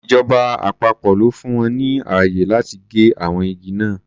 Ìjọba àpapọ̀ ló fún wọn ní ààyè láti gé àwọn igi náà.